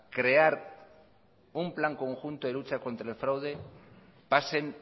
crear un plan conjunto de lucha contra el fraude pasen